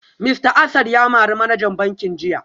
Mista Asad ya mari manajan bankin jiya